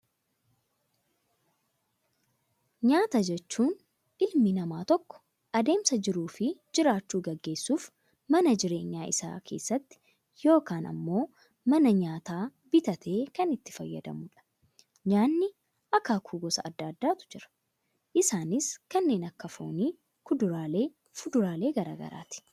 Nyaata jechuun, ilmi namaa tokko adeemsa jiruu fi jiraachuu gaggeessuuf mana jireenyaa isaa keessatti yookaan immoo mana nyaataa bitatee kan itti fayyadamudha. Nyaanni akaakuu gosa addaa addaatu jiru, isaanis kanneen akka foonii, kuduraalee fi fuduraalee garaagaraati.